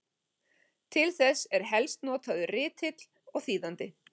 Til þess eru helst notaðir ritill og þýðandi.